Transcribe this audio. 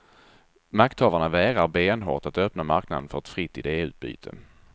Makthavarna vägrar benhårt att öppna marknaden för ett fritt ideutbyte.